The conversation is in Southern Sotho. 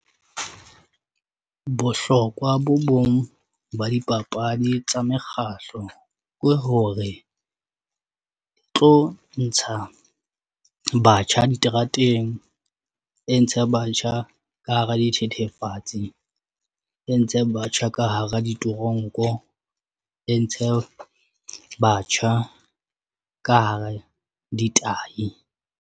Bohlokwa bo bong ba dipapadi tsa mekgahlo ke hore o tlo ntsha batjha diterateng e ntshe batjha ka hara dithethefatsi e ntshe batjha ka hara di toronko e ntshe batjha ka hare ditahi.